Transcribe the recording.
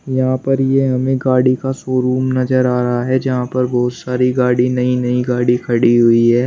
यहां पर ये हमें गाड़ी का शोरूम नजर आ रहा है जहां पर बहोत सारी गाड़ी नई नई गाड़ी खड़ी हुई है।